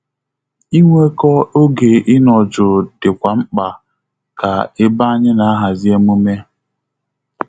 Inweko oge ịnọ jụụ dịkwa mkpa ka ebe anyị na ahazi emume